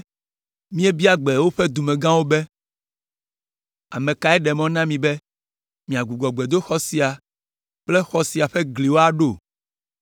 Míebia gbe woƒe dumegãwo be, “Ame kae ɖe mɔ na mi be miagbugbɔ gbedoxɔ sia kple xɔ sia ƒe gliwo aɖo?”